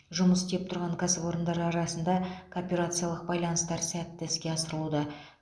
жұмыс істеп тұрған кәсіпорындар арасында кооперациялық байланыстар сәтті іске асырылуда